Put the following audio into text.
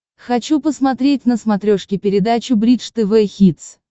хочу посмотреть на смотрешке передачу бридж тв хитс